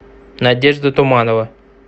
надежда туманова